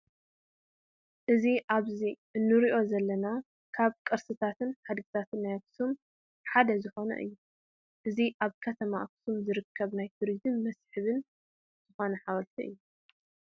እዚ ኣብዚ እንርእዮ ዘለና ካብ ቅርስታትን ሓድግታትን ናይ ኣክሱም ሓደ ዝኮነ እዩ። እዚ ኣብ ከተማ ኣክሱም ዝርከብ ናይ ቱሪዝምን መስሕብን ዝኮነ ሓወልቲ እዩ።